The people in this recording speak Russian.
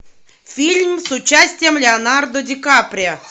фильм с участием леонардо ди каприо